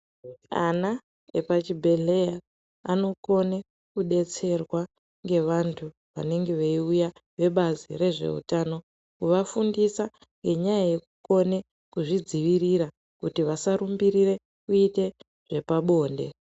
Ana epachibhedhleya anokone kudetserwa ngevantu vanenge beiuya vebazi rezveutano kuvafundise ngenyaya kone kuzvidzivirira kuti vasarumbirire kuite zvepabonde.